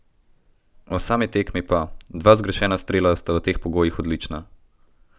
O sami tekmi pa: "Dva zgrešena strela sta v teh pogojih odlična.